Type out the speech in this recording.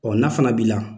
Ɔ n'a fana b'i la